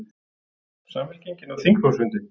Samfylkingin á þingflokksfundi